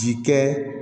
Ji kɛ